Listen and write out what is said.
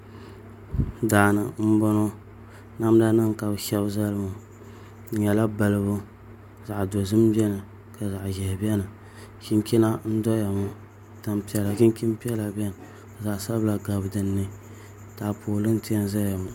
Daani n bɔŋɔ namda nim ka bi shɛbi zali ŋɔ di nyɛla balibu zaɣ dozim biɛni ka zaɣ ʒiɛhi biɛni chinchina n doya ŋɔ chinchin piɛla biɛni ka zaɣ sabila gabi dinni taapooli n piɛ n doya ŋɔ